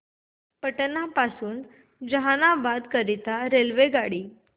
पटना पासून जहानाबाद करीता आगगाडी